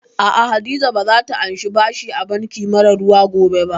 Aa, Hadiza ba za ta anshi bashi a banki mara ruwa ba gobe